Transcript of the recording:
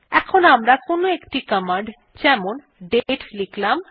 enter টিপলাম